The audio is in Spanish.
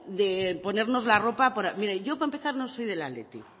ponernos la ropa mire yo para empezar no soy del athletic